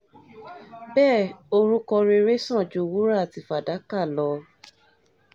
bẹ́ẹ̀ orúkọ rere sàn ju wúrà àti fàdákà lọ